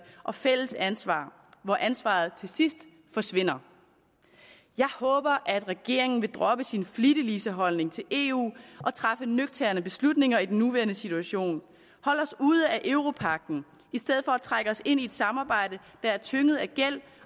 og fælles ansvar hvor ansvaret til sidst forsvinder jeg håber at regeringen vil droppe sin flittigliseholdning til eu og træffe nøgterne beslutninger i den nuværende situation holde os ude af europagten i stedet for at trække os ind i et samarbejde der er tynget af gæld